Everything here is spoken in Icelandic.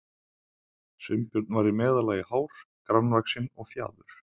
Sveinbjörn var í meðallagi hár, grannvaxinn og fjaður